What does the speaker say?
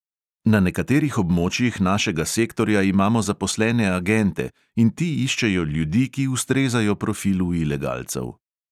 Na nekaterih območjih našega sektorja imamo zaposlene agente in ti iščejo ljudi, ki ustrezajo profilu ilegalcev.